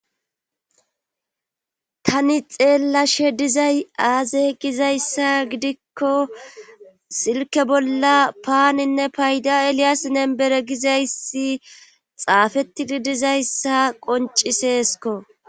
Tani xeella she dizay aaze gizayssa gidikko silke bolla paaninne payda eliyaasinnen bere gizayssi xaafettidi dizayssa qonciseesko.